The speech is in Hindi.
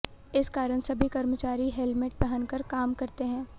इस कारण सभी कर्मचारी हेलमेट पहनकर काम करते हैं